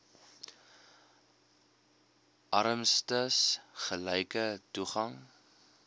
armstes gelyke toegang